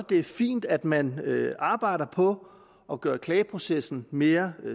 det er fint at man arbejder på at gøre klageprocessen mere